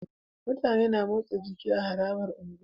Mutane na motsa jiki a harabar unguwa